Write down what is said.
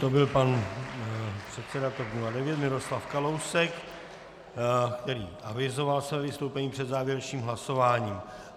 To byl pan předseda TOP 09 Miroslav Kalousek, který avizoval své vystoupení před závěrečným hlasováním.